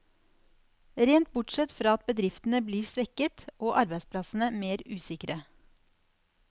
Rent bortsett fra at bedriftene blir svekket, og arbeidsplassene mer usikre.